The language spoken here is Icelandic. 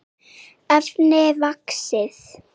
efni vaxið.